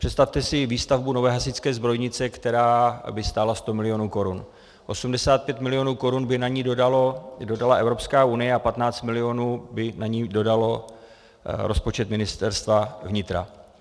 Představte si výstavbu nové hasičské zbrojnice, která by stála 100 milionů korun, 85 milionů korun by na ni dodala Evropská unie a 15 milionů by na ni dodal rozpočet Ministerstva vnitra.